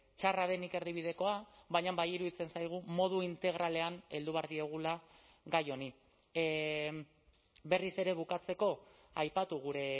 txarra denik erdibidekoa baina bai iruditzen zaigu modu integralean heldu behar diogula gai honi berriz ere bukatzeko aipatu gure